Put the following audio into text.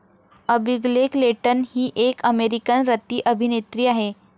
Abigail Clayton हि एक American रतिअभिनेत्री आहे.